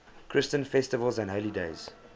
christian festivals and holy days